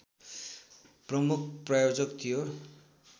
प्रमुख प्रायोजक थियो